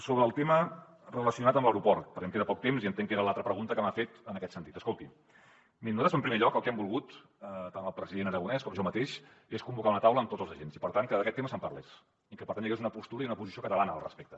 sobre el tema relacionat amb l’aeroport perquè em queda poc temps i entenc que era l’altra pregunta que m’ha fet en aquest sentit escolti miri nosaltres en primer lloc el que hem volgut tant el president aragonès com jo mateix és convocar una taula amb tots els agents i per tant que d’aquest tema se’n parlés i que per tant hi hagués una postura i una posició catalana al respecte